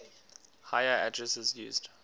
higher addresses used